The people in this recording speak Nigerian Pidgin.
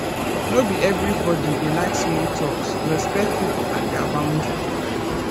no be everybodi dey like small talks respect pipo and their boundry